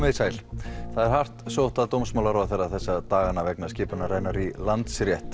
þið sæl það er hart sótt að dómsmálaráðherra þessa dagana vegna skipunar hennar í Landsrétt